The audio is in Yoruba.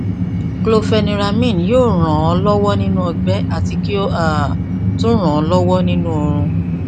chlorpheniramine yóò ràn án lọwọ nínú ọgbẹ àti kí ó um tún ràn án lọwọ nínú oorun